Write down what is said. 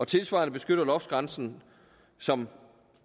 tilsvarende beskytter loftsgrænsen som